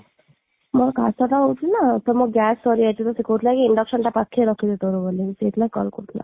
ମୋର କାଶଟା ହଉଛି ନା ଯେ ମୋର gas ସରିଯାଇଥିଲା ସେ କହୁଥିଲା କି induction ଟା ପାଖରେ ରଖିବୁ ତୋର ବୋଲି ସେଥିଲାଗି ସେ call କରିଥିଲା